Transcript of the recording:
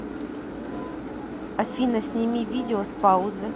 афина сними видео с паузы